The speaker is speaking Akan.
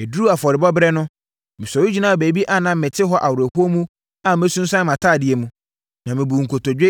Ɛduruu afɔrebɔberɛ no, mesɔre gyinaa baabi a na mete hɔ awerɛhoɔ mu a masunsuane mʼatadeɛ mu, na mebuu nkotodwe,